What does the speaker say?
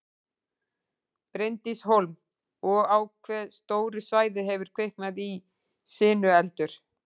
Bryndís Hólm: Og á hve stóru svæði hefur kviknað í sinueldur?